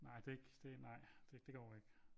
Nej det er ik nej det går ikke